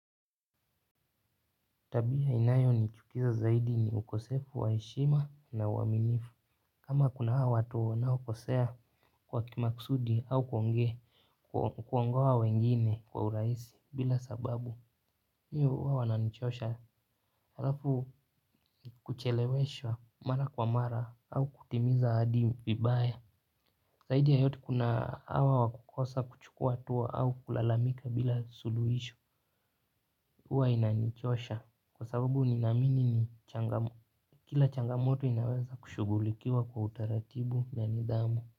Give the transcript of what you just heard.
Tabia inayo nichukiza zaidi ni ukosefu wa heshima na uwaminifu. Kama kuna hawa watu wanao kosea kwa kimakusudi au kuongea kuangoa wengine kwa urahisi bila sababu mimi huwa wananichosha. Halafu kucheleweshwa mara kwa mara au kutimiza ahadi vibaye. Zaidi ya yote kuna hawa wa kukosa kuchukua hatua au kulalamika bila suluhisho. Huwa inanichosha kwa sababu ninaamini ni changamu. Kila changamoto inaweza kushugulikiwa kwa utaratibu na nidhamu.